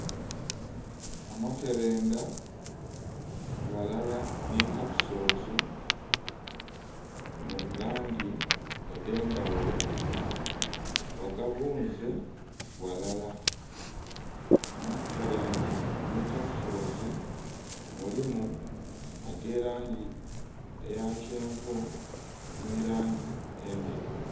Amakerenda ghalala ni kapisoozi mu bulangi edhendhaghulo, bagabuunze ghalala. Amakerendha ni kapisoozi mulimu ag'erangi eyakyenvu ni langi endheru.